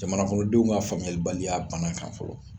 Jamana kɔnɔndenw ka famuyalibaliya bana kan fɔlɔ.